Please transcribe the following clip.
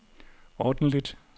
ordentligt